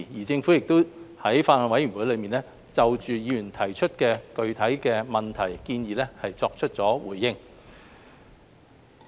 在法案委員會中，政府亦就議員提出的具體問題和建議作出了回應。